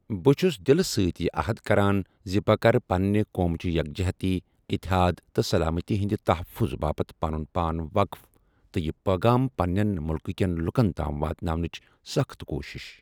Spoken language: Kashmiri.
بہٕ چُھس دِلہٕ سۭتۍ یہِ عہد کَران زِ بہٕ کرٕ پنٛنہِ قوم چہِ یکجہتی، اِتحاد، تہٕ سلامتی ہِنٛدِ تحفظ باپتھ پنُن پان وقٕف تہٕ یہِ پیغام پنٛنیٚن مُلکہٕ کیٚن لُکن تام واتناونٕچ سخٕت کوٗشش ۔